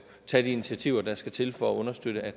tage de initiativer der skal til for at understøtte at